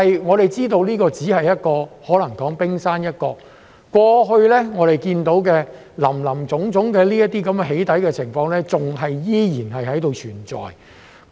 我們知道這可能只是冰山一角，過去我們所看到的林林總總"起底"情況依然存在。